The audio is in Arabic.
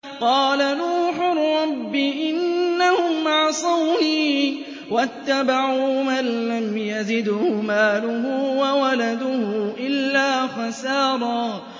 قَالَ نُوحٌ رَّبِّ إِنَّهُمْ عَصَوْنِي وَاتَّبَعُوا مَن لَّمْ يَزِدْهُ مَالُهُ وَوَلَدُهُ إِلَّا خَسَارًا